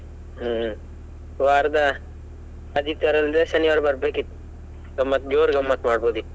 ಹ್ಮ್ ವಾರದ ಆದಿತ್ಯವಾರ ಇಲ್ದಿದ್ರೆ ಶನಿವಾರ ಬರ್ಬೇಕಿತ್ತು. ಗಮ್ಮತ್ ಜೋರ್ ಗಮ್ಮತ್ ಮಾಡ್ಬೋದಿತ್ತು.